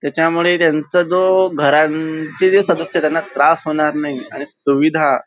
त्याच्यामुळे त्यांच जो घरांचे जे सदस्य त्यांना त्रास होणार नाही आणि सुविधा--